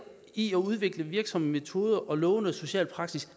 i at udvikle virksomme metoder og lovende social praksis